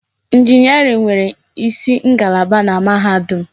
Injiniarin nwere isi ngalaba na mahadum.